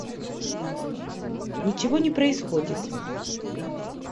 ничего не происходит